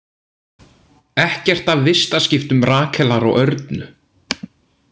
Ekkert af vistaskiptum Rakelar og Örnu